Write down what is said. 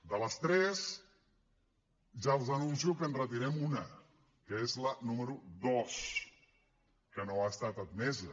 de les tres ja els anuncio que en retirem una que és la número dos que no ha estat admesa